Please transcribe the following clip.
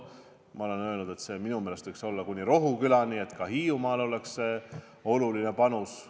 Ma olen öelnud, et minu meelest võiks seda pikendada kuni Rohukülani, et anda oluline panus ka Hiiumaa arendamiseks.